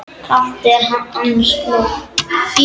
Kalt er annars blóð.